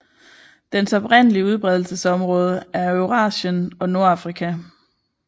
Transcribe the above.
Dens oprindelige udbredelsesområde er Eurasien og Nordafrika